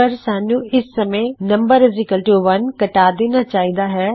ਪਰ ਸਾਨੂੰ ਇਸ ਸਮੇ num1 ਬਣਾ ਦੇਣਾ ਚਾਹੀਦਾ ਹੈ